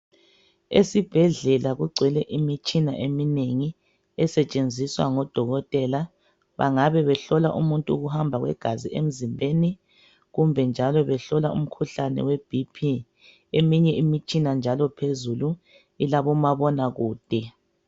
Esibhedlela kugcwele imitshina eminengi esetshenziswa ngodokotela bangabe behlola umuntu ukuhamba kwegazi emzimbeni kumbe njalo behlola imikhuhlane we BP eminye imitshina njalo phezulu ilabomabonakude.